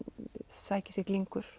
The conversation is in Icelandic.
sækir sér